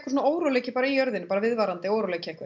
svona óróleiki í jörðinni bara viðvarandi óróleiki